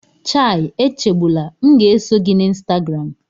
Chai Echegbula!, m ga-eso gị na Instagram